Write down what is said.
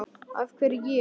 af hverju ég?